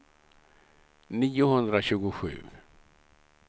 niohundratjugosju